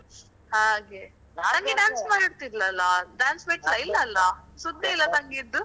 ಹಾಗೆ. ತಂಗಿ dance ಮಾಡ್ತಿದ್ಳಲ್ಲಾ dance ಬಿಟ್ಲಾ? ಇಲ್ಲ ಅಲ್ಲಾ ಸುದ್ದಿ ಇಲ್ಲ ತಂಗಿದ್ದು.